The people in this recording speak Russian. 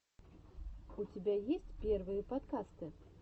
у тебя есть первые подкасты